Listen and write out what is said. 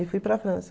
E fui para a França.